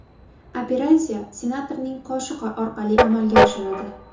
Operatsiya senatorning qoshi orqali amalga oshirildi.